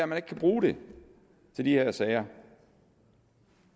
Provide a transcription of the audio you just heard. man ikke kan bruge det til de her sager